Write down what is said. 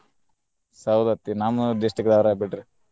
ಸೌದತ್ತಿ ನಮ್ಮ district ದಾವ್ರ ಬಿಡ್ರಿ.